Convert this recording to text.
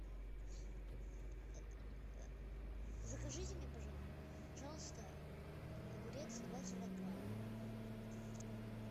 закажите мне пожалуйста огурец два килограмма